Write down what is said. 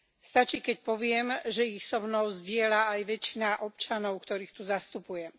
Stačí, keď poviem, že ich som mnou zdieľa aj väčšina občanov, ktorých tu zastupujem.